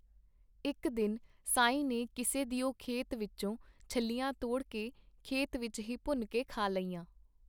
ਇੱਕ ਦਿਨ ਸਾਈਂ ਨੇ ਕਿਸੇ ਦਿਓ ਖੇਤ ਵਿੱਚੋਂ ਛੱਲੀਆਂ ਤੋੜ ਕੇ ਖੇਤ ਵਿੱਚ ਹੀ ਭੁੰਨ ਕੇ ਖਾ ਲਈਆਂ.